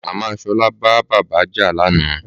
Màmá Sola bá bàbá jà lánàá